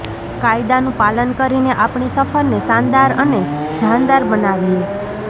કાયદાનું પાલન કરીને આપણી સફરને શાનદાર અને જાનદાર બનાવીએ